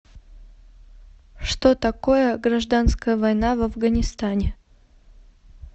что такое гражданская война в афганистане